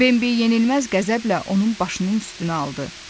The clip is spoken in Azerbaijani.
Benbi yenilməz qəzəblə onun başının üstünə aldı.